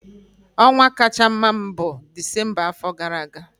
Ọnwa kacha mma m bụ Disemba afọ gara aga.